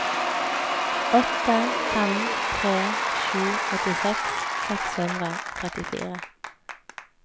åtte fem tre sju åttiseks seks hundre og trettifire